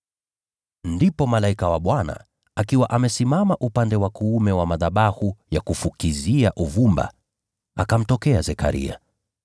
Ndipo malaika wa Bwana, akiwa amesimama upande wa kuume wa madhabahu ya kufukizia uvumba, akamtokea Zekaria.